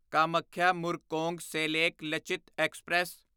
Kamakhya Murkongselek Lachit express